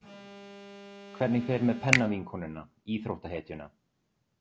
Hvernig fer með pennavinkonuna, íþróttahetjuna?